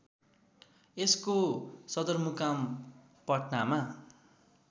यसको सदरमुकाम पटनामा